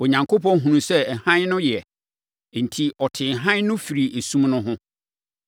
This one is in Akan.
Onyankopɔn hunuu sɛ hann no yɛ enti, ɔtee hann no firii esum no ho.